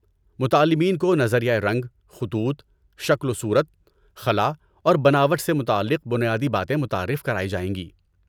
متعلمین کو نظریۂ رنگ، خطوط، شکل و صورت، خلا اور بناوٹ سے متعلق بنیادی باتیں متعارف کرائی جائیں گی۔